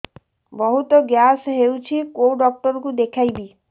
ବହୁତ ଗ୍ୟାସ ହଉଛି କୋଉ ଡକ୍ଟର କୁ ଦେଖେଇବି